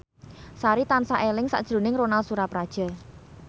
Sari tansah eling sakjroning Ronal Surapradja